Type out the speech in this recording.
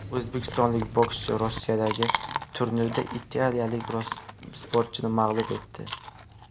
O‘zbekistonlik bokschi Rossiyadagi turnirda italiyalik sportchini mag‘lub etdi.